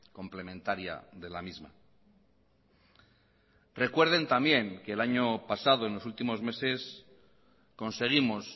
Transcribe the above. complementaria de la misma recuerden también que el año pasado en los últimos meses conseguimos